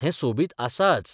हें सोबीत आसाच.